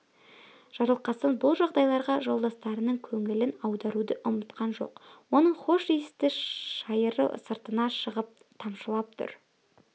жарылқасын бұл жағдайларға жолдастарының көңілін аударуды ұмытқан жоқ оның хош иісті шайыры сыртына шығып тамшылап тұр